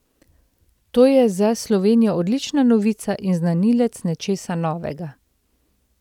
To je za Slovenijo odlična novica in znanilec nečesa novega.